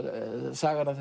sagan af